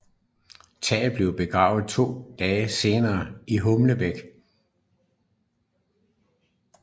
Tage blev begravet to dage senere i Hornbæk